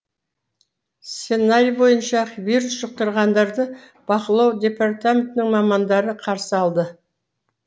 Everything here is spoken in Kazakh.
сценарий бойынша вирус жұқтырғандарды бақылау департаментінің мамандары қарсы алды